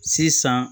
Sisan